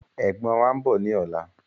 Ẹ̀gbọ́n wàá ń bọ̀ ni ọ̀la